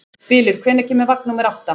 Bylur, hvenær kemur vagn númer átta?